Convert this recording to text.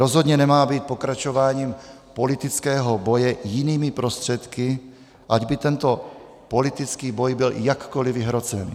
Rozhodně nemá být pokračováním politického boje jinými prostředky, ať by tento politický boj byl jakkoliv vyhrocený.